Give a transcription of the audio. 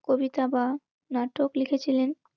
কবিতা বা নাটক লিখেছিলেন.